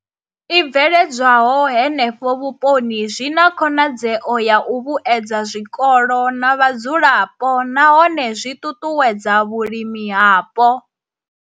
I bveledzwaho henefho vhuponi zwi na khonadzeo ya u vhuedza zwikolo na vhadzulapo nahone zwi ṱuṱuwedza vhulimi hapo.